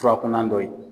Furakunan dɔ ye